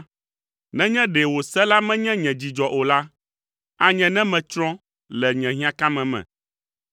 Nenye ɖe wò se la menye nye dzidzɔ o la, anye ne metsrɔ̃ le nye hiãkame me.